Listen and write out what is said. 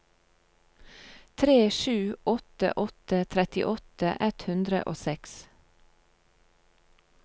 tre sju åtte åtte trettiåtte ett hundre og seks